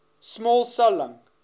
small cell lung